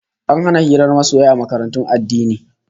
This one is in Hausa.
An hana hirar masoya a makarantun addini